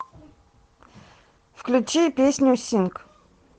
включи песню синг